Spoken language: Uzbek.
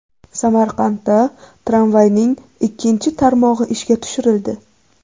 Samarqandda tramvayning ikkinchi tarmog‘i ishga tushirildi.